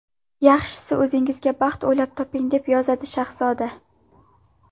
Yaxshisi, o‘zingizga baxt o‘ylab toping!”, deb yozadi Shahzoda.